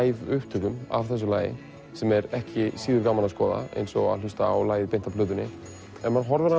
upptökum af þessu lagi sem er ekki síður gaman að skoða eins og að hlusta á lagið af plötunni ef maður horfir á